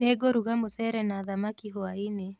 Nĩngũruga mũcere na thamaki hwaĩ-inĩ